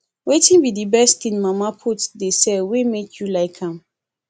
wetin be di best thing mama put dey sell wey make you like am